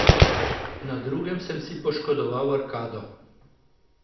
Na drugem sem si poškodoval arkado.